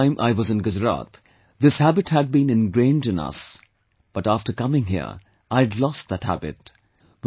Till the time I was in Gujarat, this habit had been ingrained in us, but after coming here, I had lost that habit